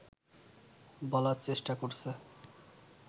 বলার চেষ্টা করছে